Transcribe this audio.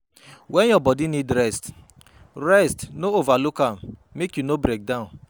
When your body need rest, rest no overlook am make you no breakdown